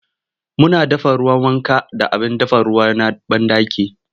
Muna dafa ruwan wanka da abin dafa ruwa na banɗaki.